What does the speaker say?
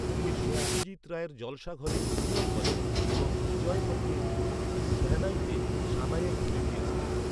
তিনি সত্যজিৎ রায়ের ‘জলসাঘরে’ অভিনয় করেন এবং বিজয় ভট্টের ‘গুঞ্জ উঠি শেহনাইতে’ সানাইয়ের ধ্বনি দিয়েছিলেন।